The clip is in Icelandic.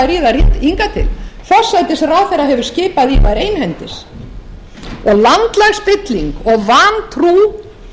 til forsætisráðherra hefur skipað í þær einhendis og landslagsspilling og vantrú